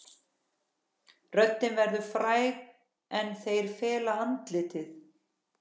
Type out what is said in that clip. Röddin verður fræg en þeir fela andlitið.